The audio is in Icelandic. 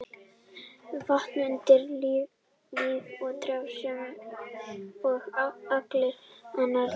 Vatn er undirstaða í lífi trjáa sem og allra annarra lífvera.